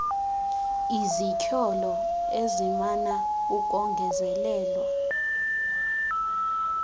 izityholo ezimana ukongezelelwa